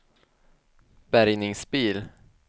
bärgningsbil